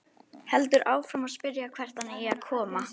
Heldur áfram að spyrja hvert hann eigi að koma.